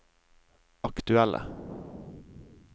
aktuelle